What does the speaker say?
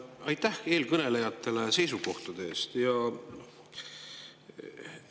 Aitäh eelkõnelejatele seisukohtade eest!